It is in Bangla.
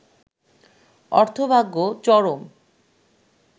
অর্থভাগ্য চরম